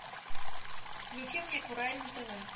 включи мне курай на тв